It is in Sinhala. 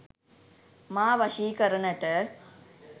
මා වශී කරනට